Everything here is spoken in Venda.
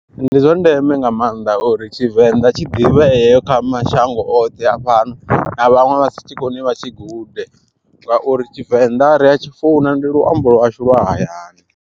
Ndi zwa ndeme nga maanḓa uri tshivenḓa tshi ḓivhee kha mashango oṱhe a fhano na vhaṅwe vhasi tshikoni vha tshi gude, ngauri tshivenḓa ri atshi funa ndi luambo lwashu lwa hayani.